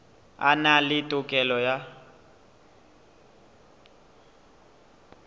a na le tokelo ya